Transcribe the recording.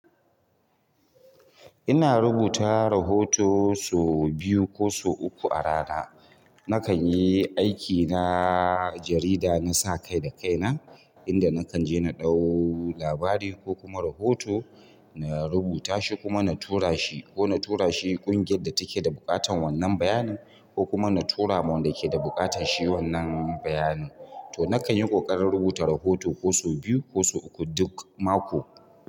Ina rubuta rahoto sau biyu ko sau uku a rana. Nakan yi aikina jarida na sa kai da kai na, inda nakan je na ɗau labari ko kuma rahoto, na rubuta shi kuma na tura shi ko na tura shi ƙungiyar da take da buƙatar wannan bayanin ko kuma na tura ma wanda ke da buƙatar shi wannan bayani. To, nakan yi ƙoƙarin rubuta rahoto sau biyu ko sau uku duk mako.